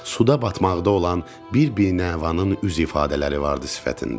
Suda batmaqda olan bir-bir Nəvanın üz ifadələri vardı sifətində.